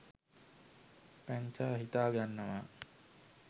පැංචා හිතා ගන්නවා